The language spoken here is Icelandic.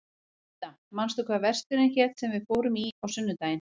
Inda, manstu hvað verslunin hét sem við fórum í á sunnudaginn?